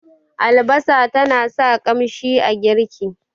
albasa tana sa ƙanshin girki